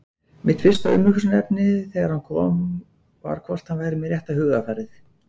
Mitt fyrsta umhugsunarefni þegar hann kom var hvort hann væri með rétta hugarfarið?